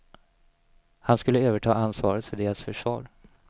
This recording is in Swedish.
Han skulle överta ansvaret för deras försvar.